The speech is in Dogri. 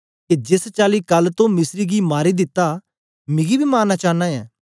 के जेस चाली कल तो मिस्री गी मारी दिता मिगी बी मारना चांना ऐ